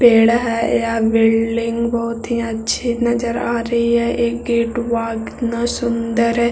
पेड़ है यह बिल्डिंग बहुत ही अच्छी नज़र आ रही है एक गेट बा कितना सुंदर है ।